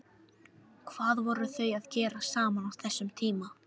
Hvað voru þau að gera saman á þessum tíma?